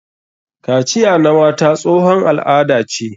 Kaciya na mata tsohon al'ada ce.